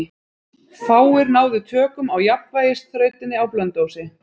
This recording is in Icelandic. Fáir náðu tökum á jafnvægisþrautinni á Blönduósi.